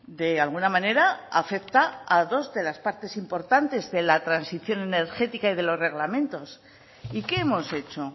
de alguna manera afecta a dos de las partes importantes de la transición energética y de los reglamentos y qué hemos hecho